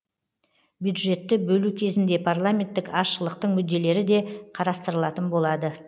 бюджетті бөлу кезінде парламенттік азшылықтың мүдделері де қарастырылатын болады